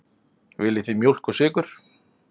Viljið þið mjólk og sykur?